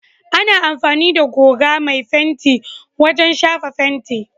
Ana amfani da goga mai fenti wajen shafa fenti.